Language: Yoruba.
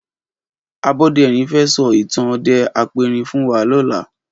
Aboderin fè sò itàn òdè àpérín fún wà lòlá